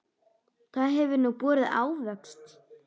Það hefur nú borið ávöxt.